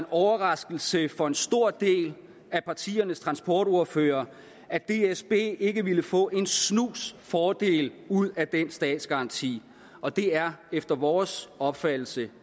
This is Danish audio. overraskelse tror jeg for en stor del af partiernes transportordførere at dsb ikke ville få en snus fordel ud af den statsgaranti og det er efter vores opfattelse